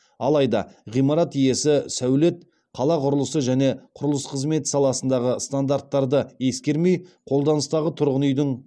алайда ғимарат иесі сәулет қала құрылысы және құрылыс қызметі саласындағы стандарттарды ескермей қолданыстағы тұрғын үйдің